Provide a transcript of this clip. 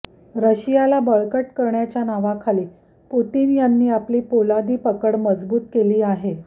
रशियाला बळकट करण्याच्या नावाखाली पुतिन यांनी आपली पोलादी पकड मजबूत केली आहे